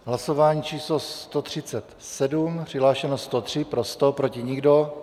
Hlasování číslo 137, přihlášeno 103, pro 100, proti nikdo.